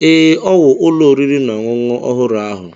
Ee, ọ wụ ụlọ oriri na ọṅụṅụ ọhụrụ ahụ.